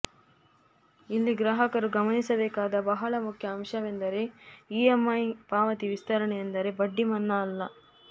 ಇಲ್ಲಿ ಗ್ರಾಹಕರು ಗಮನಿಸಬೇಕಾದ ಬಹಳ ಮುಖ್ಯ ಅಂಶವೆಂದರೆ ಇಎಂಐ ಪಾವತಿ ವಿಸ್ತರಣೆಯೆಂದರೆ ಬಡ್ಡಿ ಮನ್ನಾ ಅಲ್ಲ